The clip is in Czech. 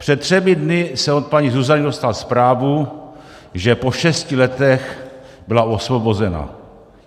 Před třemi dny jsem od paní Zuzany dostal zprávu, že po šesti letech byla osvobozena.